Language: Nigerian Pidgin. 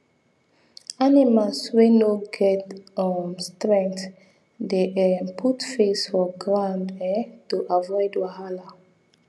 animal wey no get um strength dey um put face for ground um to avoid wahala